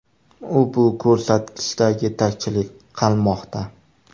U bu ko‘rsatkichda yetakchilik qilmoqda.